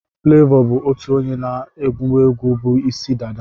Flavour ụtọ onye na-agwuegwu bu Ịsị dada.